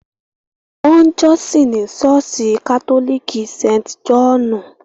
Wọn ń jọ́sìn ní Ṣọ́ọ̀ṣì Katólíkì St. Jòhnù.